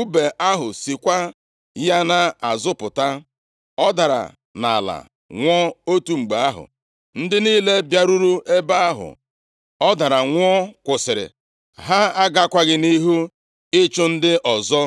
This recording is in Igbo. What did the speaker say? Ùbe ahụ sikwa ya nʼazụ pụta. Ọ dara nʼala, nwụọ otu mgbe ahụ. Ndị niile bịaruru ebe ahụ ọ dara nwụọ kwụsịrị. Ha agakwaghị nʼihu ịchụ ndị ọzọ.